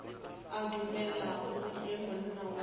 a dumelago ge monna wa